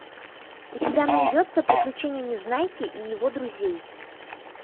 у тебя найдется приключения незнайки и его друзей